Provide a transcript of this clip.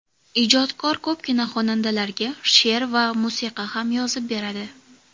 Ijodkor ko‘pgina xonandalarga she’r va musiqa ham yozib beradi.